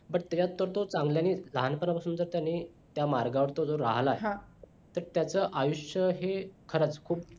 पण त्याचा तर तो चांगल्याने लहानपणा पासून तर त्यांनी त्या मार्गावर तो जर राहिलाय तर त्याचा आयुष्य हे खरंच खूप